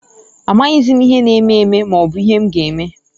Amaghịzị m ihe na eme eme, maobu ihe m ga eme.